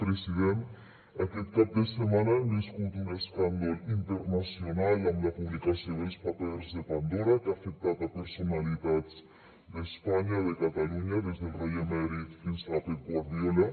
president aquest cap de setmana hem viscut un escàndol internacional amb la publicació dels papers de pandora que ha afectat personalitats d’espanya de catalunya des del rei emèrit fins a pep guardiola